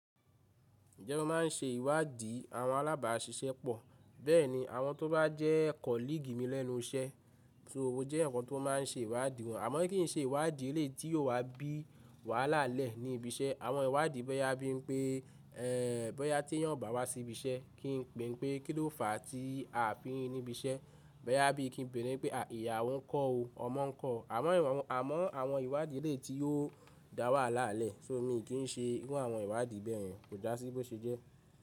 Ǹjẹ́ mo máa ń ṣe ìwádìí àwọn alábàáṣiṣẹ́ pọ̀, bẹ́ẹ̀ni àwọn tó bá jẹ́ kọ́ lígimílẹ̀nu iṣẹ́, só mó jẹ́ yan kan tó máa ń ṣe ìwádìí wọn. Àmọ́ kín ǹ ṣe ìwádìí e lé tí yóò wá bí wàhálà lẹ́ ní ibi iṣẹ́. Àwọn ìwádìí bẹ́ẹ ya bí i pé e bòyá tí ẹ̀yin ò bá wá sí ibi iṣẹ́, kí n pè pé kí ló fàá tí a fi ri ní ibi iṣẹ́. Bòyà bí i kí n bè rè pé a ìyàwọ ń kọ́ o, ọmọ ń kọ́. Àmọ́ àwọn ìwádìí e lé tí yóò dá wàhálà lẹ́, só mi i kì í ṣe irú àwọn ìwádìí bẹ́ẹ̀ yẹn kò dá sí bó ṣe jẹ́.